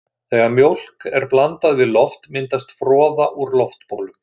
Þegar mjólk er blandað við loft myndast froða úr loftbólum.